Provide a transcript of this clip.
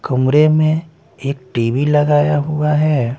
कमरे में एक टी_वी लगाया हुआ हैं ।